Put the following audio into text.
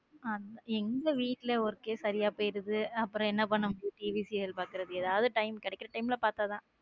எங்க வீட்டிலேயே work சரியா போயிருது. அப்புறம் என்ன பண்ண முடியும் TVserial பார்க்கிறது ஏதாவத time கிடைக்கிற time குள்ள பார்த்தா தான்.